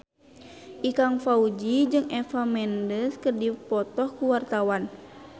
Ikang Fawzi jeung Eva Mendes keur dipoto ku wartawan